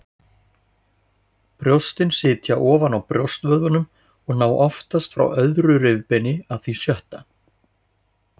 Brjóstin sitja ofan á brjóstvöðvunum og ná oftast frá öðru rifbeini að því sjötta.